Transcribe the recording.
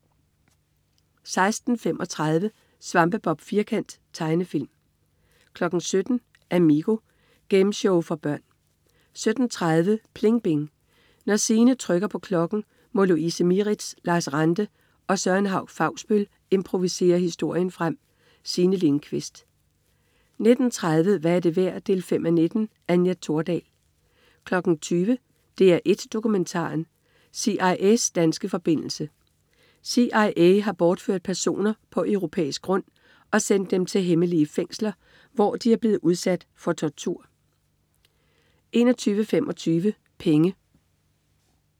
16.35 Svampebob Firkant. Tegnefilm 17.00 Amigo. Gameshow for børn 17.30 PLING BING. Når Signe trykker på klokken, må Louise Mieritz, Lars Ranthe og Søren Hauch-Fausbøll improvisere historien frem. Signe Lindkvist 19.30 Hvad er det værd 5:19. Anja Thordal 20.00 DR1 Dokumentaren. CIA's danske forbindelse. CIA har bortført personer på europæisk grund og sendt dem til hemmelige fængsler, hvor de er blevet udsat for tortur 21.25 Penge